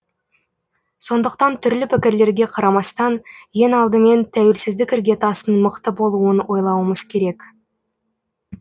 сондықтан түрлі пікірлерге қарамастан ең алдымен тәуелсіздік іргетасының мықты болуын ойлауымыз керек